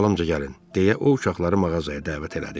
Dalımca gəlin, deyə o uşaqları mağazaya dəvət elədi.